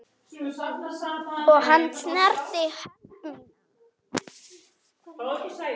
Og hann snerti hönd mína.